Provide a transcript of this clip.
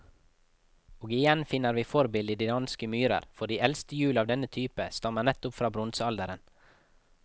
Og igjen finner vi forbildet i de danske myrer, for de eldste hjul av denne type stammer nettopp fra bronsealderen.